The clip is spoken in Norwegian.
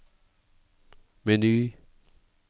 meny